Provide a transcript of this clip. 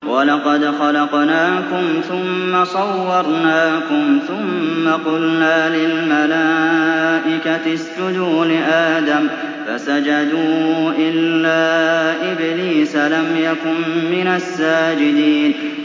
وَلَقَدْ خَلَقْنَاكُمْ ثُمَّ صَوَّرْنَاكُمْ ثُمَّ قُلْنَا لِلْمَلَائِكَةِ اسْجُدُوا لِآدَمَ فَسَجَدُوا إِلَّا إِبْلِيسَ لَمْ يَكُن مِّنَ السَّاجِدِينَ